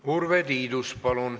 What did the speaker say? Urve Tiidus, palun!